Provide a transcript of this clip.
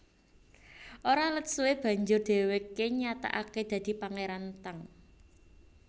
Ora let suwé banjur dhèwèké nyatakaké dadi Pangéran Tang